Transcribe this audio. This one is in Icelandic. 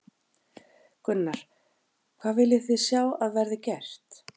Gunnar: Hvað viljið þið sjá að verði gert?